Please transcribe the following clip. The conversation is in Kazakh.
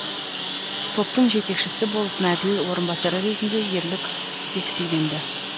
топтың жетекшісі болып мәділ орынбасары ретінде ерлік бекітілген ді